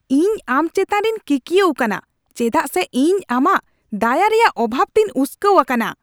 ᱤᱧ ᱟᱢ ᱪᱮᱛᱟᱱ ᱨᱮᱧ ᱠᱤᱠᱤᱭᱟᱹᱜ ᱠᱟᱱᱟ ᱪᱮᱫᱟᱜ ᱥᱮ ᱤᱧ ᱟᱢᱟᱜ ᱫᱟᱭᱟ ᱮᱨᱭᱟᱜ ᱚᱵᱷᱟᱵ ᱛᱮᱧ ᱩᱥᱠᱟᱹᱣ ᱟᱠᱟᱱᱟ ᱾